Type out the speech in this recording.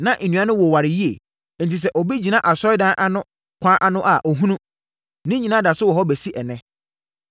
Na nnua no woware yie; enti sɛ obi gyina Asɔredan no ano kwan ano a ɔhunu. Ne nyinaa da so wɔ hɔ bɛsi ɛnnɛ.